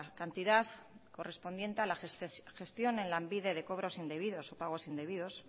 cantidad correspondiente a la gestión en lanbide de cobros indebidos o pagos indebidos